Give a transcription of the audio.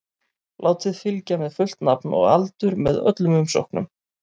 Látið fylgja með fullt nafn og aldur með öllum umsóknum.